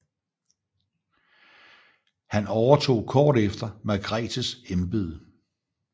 Han overtog kort efter Margretes embede